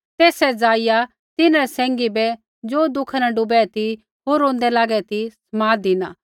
तेइयै जाईया तिन्हरै सैंघी बै ज़ो दुःखा न डूबै ती होर रोंदै लागै ती समाद धिना